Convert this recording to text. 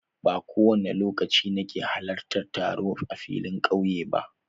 Ba kowane lokaci nake halartar taro a filin ƙauye ba.